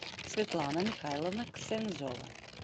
светлана михайловна ксензова